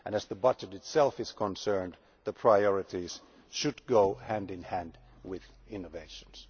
As far as the budget itself is concerned, the priorities should go hand in hand with innovations.